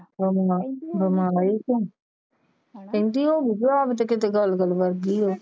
ਓਹਦੇ ਨਾਲ ਬਿਮਾਰ ਈ ਤੇ ਕਹਿੰਦੀ ਉਹ